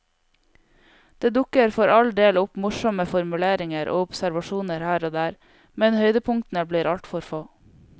Det dukker for all del opp morsomme formuleringer og observasjoner her og der, men høydepunktene blir altfor få.